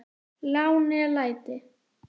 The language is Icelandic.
lá né læti